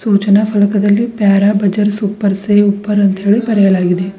ಸೂಚನಾ ಫಲಕದಲ್ಲಿ ಪ್ಯಾರಾ ಬಜರ್ ಸೂಪರ್ ಸೇವ್ ಊಪರ್ ಅಂತ ಬರೆಯಲಾಗಿದೆ.